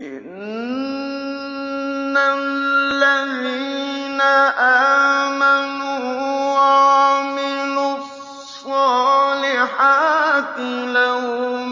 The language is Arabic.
إِنَّ الَّذِينَ آمَنُوا وَعَمِلُوا الصَّالِحَاتِ لَهُمْ